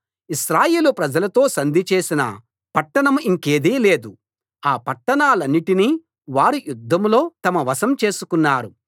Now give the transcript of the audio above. ఇశ్రాయేలు ప్రజలతో సంధి చేసిన పట్టణం ఇంకేదీ లేదు ఆ పట్టణాలన్నిటినీ వారు యుద్ధంలో తమ వశం చేసుకున్నారు